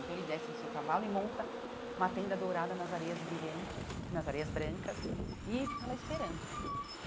Então ele desce do seu cavalo e monta uma tenda dourada nas areias brilhantes, nas areias brancas, e fica lá esperando.